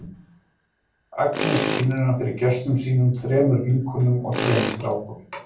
Agnes kynnir hann fyrir gestum sínum, þrem vinkonum og þrem strákum.